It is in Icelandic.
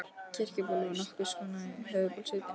Kirkjuból var nokkurs konar höfuðból í sveitinni.